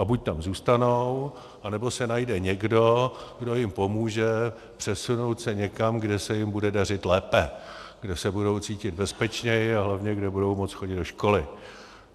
A buď tam zůstanou, anebo se najde někdo, kdo jim pomůže přesunout se někam, kde se jim bude dařit lépe, kde se budou cítit bezpečněji a hlavně kde budou moci chodit do školy.